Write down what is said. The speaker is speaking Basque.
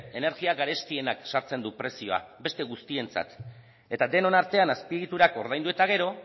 energia garestienak sartzen du prezioa beste guztientzat eta denon artean azpiegiturak ordaindu eta gero